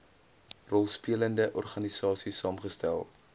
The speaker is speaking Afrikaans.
rolspelende organisaies saamgestel